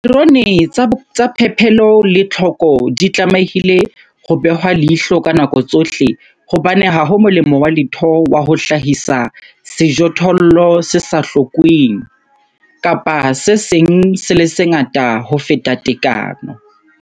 Dipaterone tsa phepelo le tlhoko di tlamehile ho behwa leihlo ka nako tsohle hobane ha ho molemo wa letho wa ho hlahisa sejothollo se sa hlokweng, tlhoko, kapa se seng se le sengata ho feta tekano, phepelo.